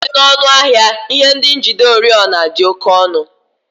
Site n'ọnụ ahịa, ihe ndị njide oriọna dị oke ọnụ